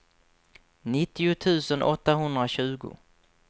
nittio tusen åttahundratjugo